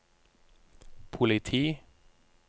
politi